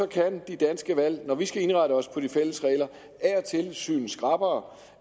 kan det danske valg når vi skal indrette os på de fælles regler af og til synes skrappere